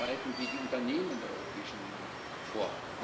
Wie bereiten wir die Unternehmen in der europäischen Union vor?